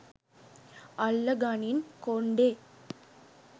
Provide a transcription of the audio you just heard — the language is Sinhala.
අල්ල ගනින් කොන්ඩෙ